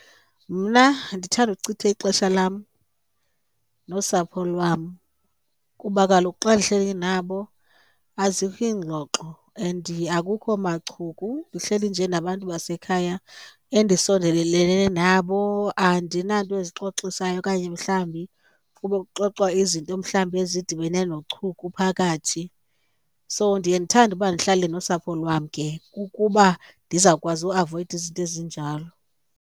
Mna ndithanda ukuchitha ixesha lam nosapho lwam kuba kaloku xa ndihleli nabo azikho iingxoxo and akukho machuku, ndihleli nje nabantu basekhaya endisondelelene nabo andinanto ezixoxisayo okanye mhlawumbi kube kuxoxwa izinto mhlawumbi ezidibene nochuku phakathi. So ndiye ndithande uba ndihlale nosapho lwam ke kukuba ndizawukwazi uavoyida izinto ezinjalo.